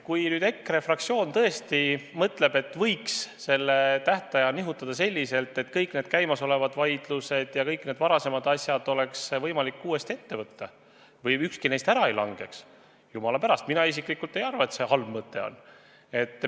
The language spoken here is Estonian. Kui ERKE fraktsioon tõesti mõtleb, et võiks seda tähtaega nihutada selliselt, et kõik käimasolevad vaidlused ja kõik need varasemad asjad oleks võimalik uuesti ette võtta või et ükski neist ära langeks, siis, jumala pärast, mina isiklikult ei arva, et see halb mõte on.